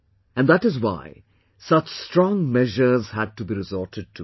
And that is why such strong measures had to be resorted to